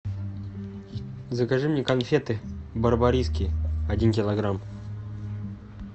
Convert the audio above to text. закажи мне конфеты барбариски один килограмм